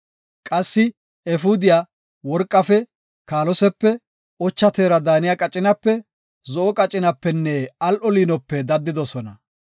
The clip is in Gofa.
Qassi efuudiya, worqafe, kaalosepe, ocha teera daaniya qacinape, zo7o qacinapenne al7o liinope daddidosona.